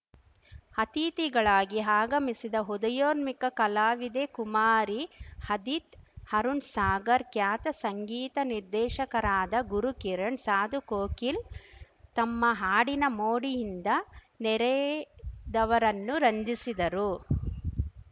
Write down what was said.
ಅತಿಥಿಗಳಾಗಿ ಆಗಮಿಸಿದ್ದ ಉದಯೋನ್ಮುಖ ಕಲಾವಿದೆ ಕುಮಾರಿ ಅದಿತ್ ಅರುಣ್‌ ಸಾಗರ್ ಖ್ಯಾತ ಸಂಗೀತ ನಿರ್ದೇಶಕರಾದ ಗುರುಕಿರಣ್‌ ಸಾಧು ಕೋಕಿಲ್ ತಮ್ಮ ಹಾಡಿನ ಮೋಡಿಯಿಂದ ನೆರೆದವರನ್ನು ರಂಜಿಸಿದರು